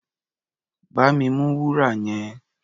Bá mi mú wúrà yẹn!